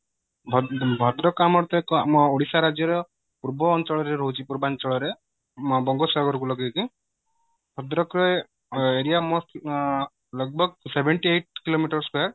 ଭଦ୍ରକ ଆମ ଆମ ଓଡିଶା ରାଜ୍ୟ ର ପୂର୍ବ ଅଞ୍ଚଳ ରେ ରହୁଛି ପୂର୍ବାଞ୍ଚଳ ରେ ବଙ୍ଗୋପସାଗର କୁ ଲଗେଇକି ଭଦ୍ରକ ରେ area most seventy eight kilometre square